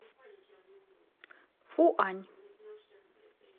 фуань